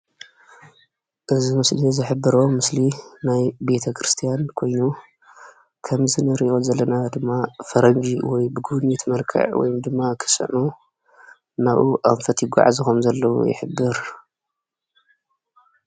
እዚ ምስሊ እዚ ዝሕብሮ ምስሊ ናይ ቤተ ክርስትያን ኮይኑ ከምዚ ንሪኦ ዘለና ድማ ፈረንጂ ብጉብይት መልክዕ ወይ ድማ ክስዕሞ ናብኡ ኣንፈት ይጉዓዙ ከም ዘለዉ ይሕበር።